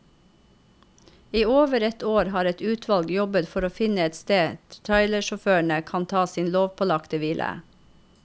I over ett år har et utvalg jobbet for å finne et sted trailersjåførene kan ta sin lovpålagte hvile.